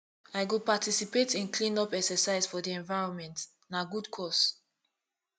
i go participate in cleanup exercise for di environment na good cause